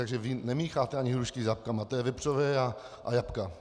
Takže vy nemícháte ani hrušky s jabkama, to je vepřové a jabka.